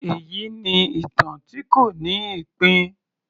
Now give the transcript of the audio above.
Èyí ni ìtàn tí kò ní ìpín